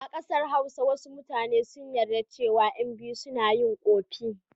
A ƙasar Hausa wasu mutane sun yarda cewa ƴan biyu suna yi ƙofi.